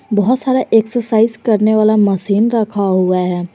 बहुत सारा एक्सरसाइज करने वाला मशीन रखा हुआ है।